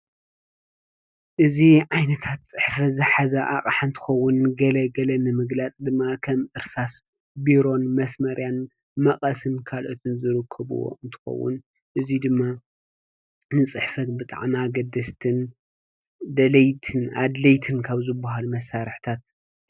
እዚ ዓይነታት አቕሓ ዝሓዘ እንትኸውን ንገለገለ ንምግላፅ ድማ ከም እርሳስ፣ ቢሮን መስመርያን መቐስን ካልኦትን ዝርከቡዎ እንትኸውን እዚ ድማ ንፅሕፈት ብጣዕሚ አገደስትን አድለይትን ካብ ዝበሃሉ መሳርሒታት እዩ፡፡